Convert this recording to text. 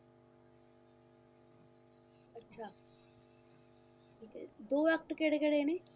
ਦੋ act ਕਿਹੜੇ ਕਿਹੜੇ ਨੇ